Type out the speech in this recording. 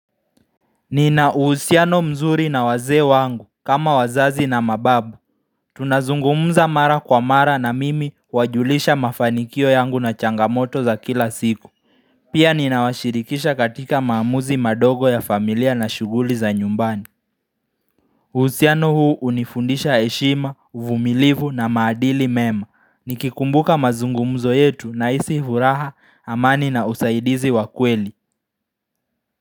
Nina uhusiano mzuri na wazee wangu kama wazazi na mababu Tunazungumuza mara kwa mara na mimi huwajulisha mafanikio yangu na changamoto za kila siku Pia ninawashirikisha katika maamuzi madogo ya familia na shuguli za nyumbani uhusiano huu unifundisha heshima, uvumilivu na maadili mema Nikikumbuka mazungumzo yetu naisi vuraha amani na usaidizi wa kweli.